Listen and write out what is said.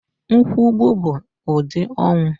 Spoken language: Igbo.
Nkwùgbù bụ ụdị ọnwụ